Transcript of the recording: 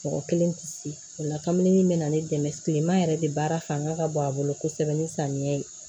Mɔgɔ kelen tɛ se o la kabini min bɛ na ne dɛmɛ tilema yɛrɛ de baara fanga ka bon a bolo kosɛbɛ ni samiyɛ ye